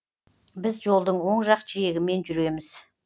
біз жолдың оң жақ жиегімен жүреміз